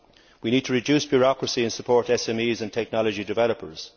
We need to reduce bureaucracy and support SMEs and technology developers.